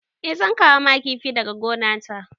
Eh zan kawo ma kifi daga gonata.